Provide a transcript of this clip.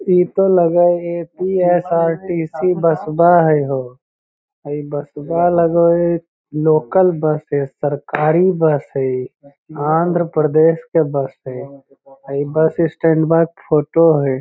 इते लगे हेय ए.सी. एस.आर.टी.सी. बस बा हेय होअ इ बस बा लगे हेय लोकल बस हेय सरकारी बस हेय इ आंध्र प्रदेश के बस हेय इ बस स्टैंड बा के फोटो हेय।